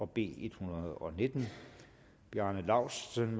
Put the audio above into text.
b en hundrede og nitten bjarne laustsen